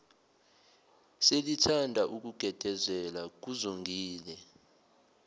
selithanda ukugedezela kuzongile